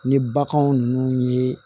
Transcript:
Ni baganw ninnu ye